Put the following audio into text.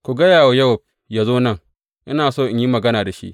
Ku gaya wa Yowab yă zo nan ina so in yi magana da shi.